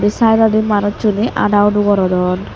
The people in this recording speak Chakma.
say side dodi manusune ada udo gordon.